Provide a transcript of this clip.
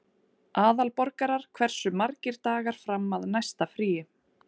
Aðalborgar, hversu margir dagar fram að næsta fríi?